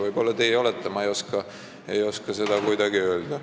Võib-olla teie olete, ma ei oska seda öelda.